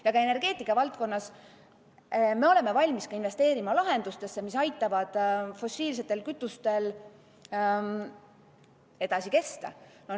Ja ka energeetikavaldkonnas me oleme valmis investeerima lahendustesse, mis aitavad fossiilsetel kütustel edasi kesta.